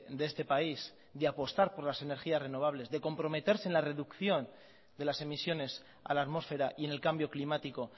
de este país de apostar por las energías renovables de comprometerse en la reducción de las emisiones a la atmósfera y en el cambio climático